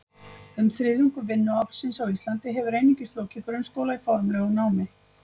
Um þriðjungur vinnuaflsins á Íslandi hefur einungis lokið grunnskóla í formlegu námi.